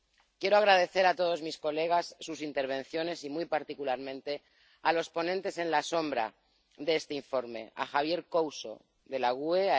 Quiero agradecer a todos mis colegas sus intervenciones y, muy particularmente, a los ponentes alternativos de este informe, a Javier Couso, del GUE